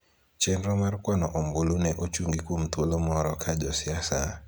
Chenro mar kwano obulu ne ochungi kuom thuolo moro ka josiasa,